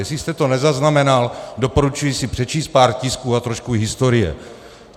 Jestli jste to nezaznamenal, doporučuji si přečíst pár tisků a trošku historie.